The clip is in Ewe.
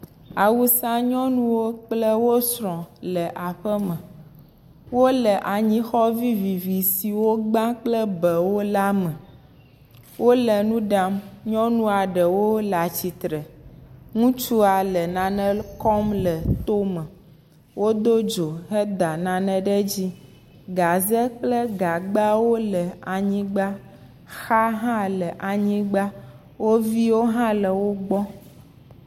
Awusanyɔnuwo kple wo srɔ̃ le aƒeme. Wole anyixɔ vivivi si wogba kple bɛ la me. Wole nu ɖam. Nyɔnua ɖewo le atsitre. Ŋutsua le nane lɔ kɔm le tome. Wodo dzo head nane ɖe dzi. Gaze kple gagbawo le anyigba, xa hã le anyigba. Wo viwo hã le wogbɔ